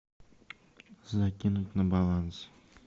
закинуть на баланс